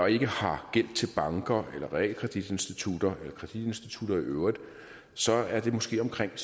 ikke har gæld til banker eller realkreditinstitutter eller kreditinstitutter i øvrigt så er det måske omkring